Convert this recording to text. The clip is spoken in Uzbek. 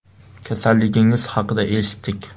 Kasalligingiz haqida eshitdik.